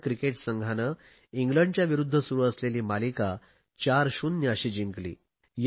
भारतीय क्रिकेट संघाने इंग्लंडच्या विरुध्द सुरु असलेली मालिका 40 अशी जिंकली